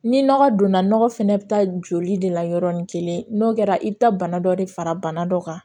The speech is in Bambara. Ni nɔgɔ donna nɔgɔ fɛnɛ bi taa joli de la yɔrɔnin kelen n'o kɛra i bɛ taa bana dɔ de fara bana dɔ kan